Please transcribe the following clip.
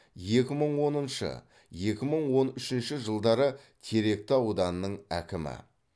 екі мың оныншы екі мың он үшінші жылдары теректі ауданының әкімі